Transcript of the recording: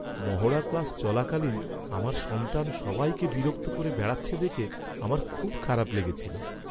মহড়া ক্লাস চলাকালীন আমার সন্তান সবাইকে বিরক্ত করে বেড়াচ্ছে দেখে আমার খুব খারাপ লেগেছিল।